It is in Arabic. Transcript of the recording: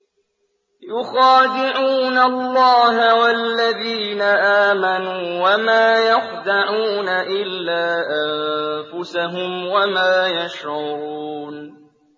يُخَادِعُونَ اللَّهَ وَالَّذِينَ آمَنُوا وَمَا يَخْدَعُونَ إِلَّا أَنفُسَهُمْ وَمَا يَشْعُرُونَ